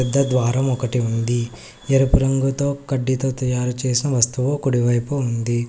the ద్వారం ఒకటి ఉంది ఎరుపు రంగుతో కడ్డీతో తయారు చేసిన వస్తువు కుడి వైపు ఉంది